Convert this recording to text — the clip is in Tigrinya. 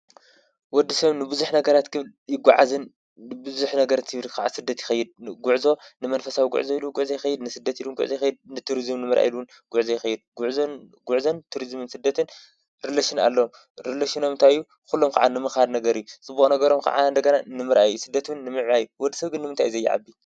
ወዲ ሰብ ንብዙሕ ነገራት ክብል ይጓዓዝን ብብዙሕ ነገር ናብ ስደት ይኸይድ፡፡ ጉዕዞ ንመንፈሳዊ ጉዕዞ ኢሉ ውን ጉዕዞ ይኸይድ ንስደት ኢሉ ውን ጉዕዞ ይኸይድ ንቱሪዝም ኢሉ ጉዕዞ ይኸይድ፡፡ ጉዕዞን ትሪዝምን ስደትን ሪሌሽን ኣለዎም፡፡ ሊሌሽኖም እንታይ እዩ ኩሎም ከዓ ንምኻድ ነገር እዩ፡፡ ፅቡቕ ነገሮም ከዓ ንምርኣይ እዩ ስደት ውን ንምዕባይ እዩ፡፡ ወዲ ሰብ ግን ንምንታይ እዩ ዘይዓቢ?